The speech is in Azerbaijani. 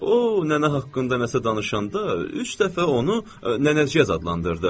O, nənə haqqında nəsə danışanda üç dəfə onu nənəciyəz adlandırdı.